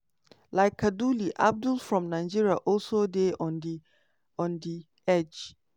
like kaduli abdul from nigeria also dey on di on di edge.